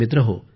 मित्रहो